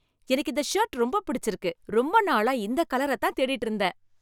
எனக்கு இந்த ஷர்ட் ரொம்ப பிடிச்சிருக்கு. ரொம்ப நாளா இந்த கலரை தான் தேடிட்டு இருந்தேன்.